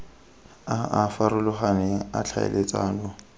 a a farologaneng a tlhaeletsano